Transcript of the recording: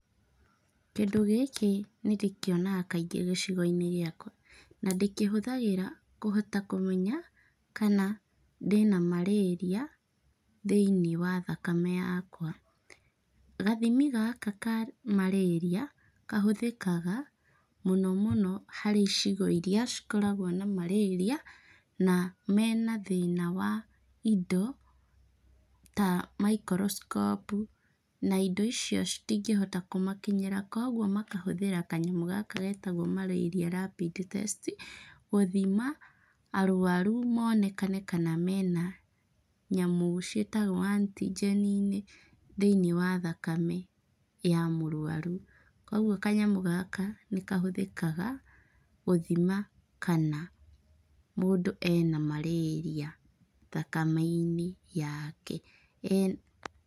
Kĩndũ gĩkĩ nĩ ndĩkĩonaga kaingĩ gĩcigo-inĩ gĩakwa, na ndĩkihũthagĩra kũhota kũmenya kana ndĩna Marĩria thĩinĩ wa thakame yakwa. Gathimi gaka ka Marĩria kahũthĩkaga mũnomũno harĩ icigo iria cikoragwo na Marĩria na mena thĩna wa indo ta maikoroskopu, na indo icio citingĩhota kũmakinyĩra. Kwoguo makahũthĩra kanyamũ gaka geetawo Malaria Rapid Test gũthima arũaru moonekane kana mena nyamũ ciĩtagwo antigeni thĩniĩ wa thakame ya mũrũaru. Kwoguo kanyamũ gaka nĩ kahũthĩkaga gũthima kana mũndũ ena Marĩria thakame-inĩ yake.